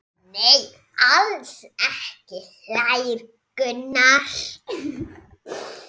Nei, alls ekki hlær Gunnar.